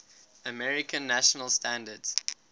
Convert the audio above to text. american national standards